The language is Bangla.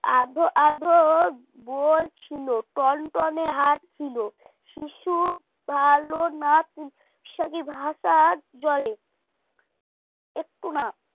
আধো আধো বলছিল কনকনে হাট ছিল শিশু পালনা জলে একটু না